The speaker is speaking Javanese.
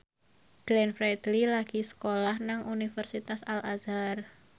Glenn Fredly lagi sekolah nang Universitas Al Azhar